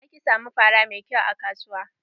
Zaki samu fara mai kyau a kasuwa.